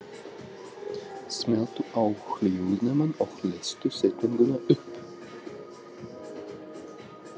Hann læðist eins og köttur inn í teppalagt, víðáttumikið anddyri.